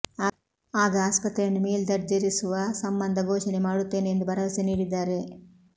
ಆಗ ಆಸ್ಪತ್ರೆಯನ್ನು ಮೇಲ್ದರ್ಜೆರಿಸುವ ಸಂಬಂಧ ಘೋಷಣೆ ಮಾಡುತ್ತೇನೆ ಎಂದು ಭರವಸೆ ನೀಡಿದ್ದಾರೆ